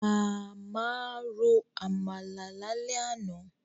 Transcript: Màmá ro Àmàlà lálẹ́ àná